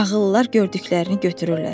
Ağıllılar gördüklərini götürürlər.